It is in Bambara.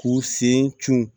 K'u sen cun